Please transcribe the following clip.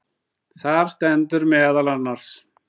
Þar stendur meðal annars